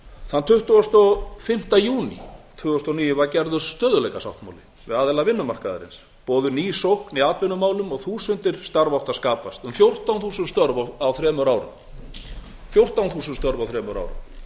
þann tuttugasta og fimmta júní tvö þúsund og níu var gerður stöðugleikasáttmáli við aðila vinnumarkaðarins boðuð ný sókn í atvinnumálum og þúsundir starfa áttu að skapast um fjórtán þúsund störf á þremur